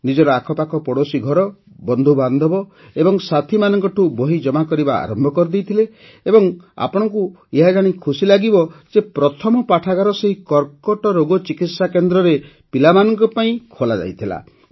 ସେ ନିଜର ଆଖାପାଖ ପଡ଼ୋଶୀ ଘର ବନ୍ଧୁବାନ୍ଧବ ଓ ସାଥୀମାନଙ୍କଠାରୁ ବହି ଜମାକରିବା ଆରମ୍ଭ କରିଦେଲେ ଓ ଆପଣଙ୍କୁ ଏହାଜାଣି ଖୁସି ଲାଗିବ ଯେ ପ୍ରଥମ ପାଠାଗାର ସେହି କର୍କଟ ଚିକିତ୍ସାକେନ୍ଦ୍ର ପିଲାମାନଙ୍କ ପାଇଁ ଖୋଲାଗଲା